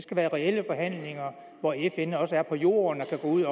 skal være reelle forhandlinger hvor fn også er på jorden og kan gå ud